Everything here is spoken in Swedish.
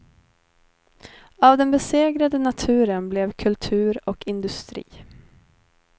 Av den besegrade naturen blev kultur och industri.